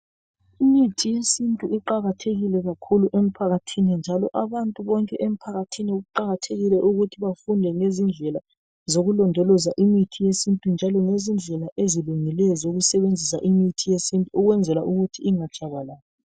Imithi yesintu iqakathekile kakhulu emphakathini njalo abantu bonke emphakathini kuqakathekile ukuthi bafunde ngezindlela zokulondoloza imithi yesintu njalo lezindlela ezilungileyo zokusebenzisa imithi yesintu ukwenzela ingatshabalali.